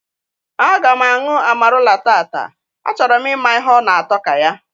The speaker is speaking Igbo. Aga m anwụ amarula tata, a choro m ịma ihe ọ na atọ ka ya